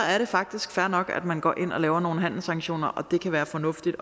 faktisk fair nok at man går ind og laver nogle handelssanktioner og det kan være fornuftigt